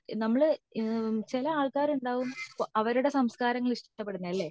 നമ്മൾ ചില ആൾക്കര് ഉണ്ടാവും ഇപ്പോ അവരുടെ സംസ്കാരങ്ങൾ ഇഷ്ടപ്പെടുന്നത് ലെ